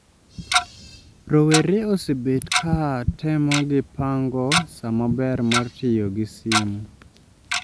rowere osebet ka tomogi pango saa maber mar tiyo gi sim